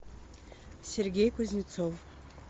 сергей кузнецов